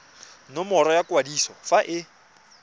nomoro ya kwadiso fa e